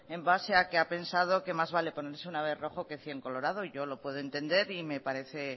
en base a que ha pensado que más vale ponerse una vez rojo que cien colorado y yo lo puedo entender y me parece